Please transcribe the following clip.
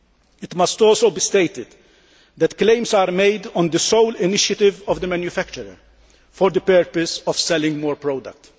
It must also be stated that claims are made on the sole initiative of the manufacturer for the purpose of selling more products.